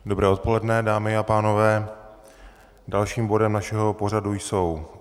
Dobré odpoledne, dámy a pánové, dalším bodem našeho pořadu jsou